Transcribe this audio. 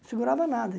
Não segurava nada.